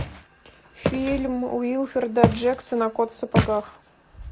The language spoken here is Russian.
фильм уилфреда джексона кот в сапогах